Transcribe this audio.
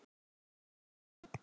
Menntun fyrir alla.